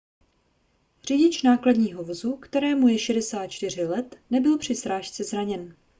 řidič nákladního vozu kterému je 64 let nebyl při srážce zraněn